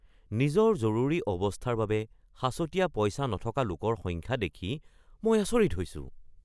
মই সঁচাকৈয়ে সুখী যে এই ব্যৱসায়ৰ বাবে থকা ভাৰাৰ ঠাইটো এখন ব্যৱসায়িক ঠাইত অৱস্থিত। মই ঠিক সেইটোৱেই বিচাৰি আছিলো।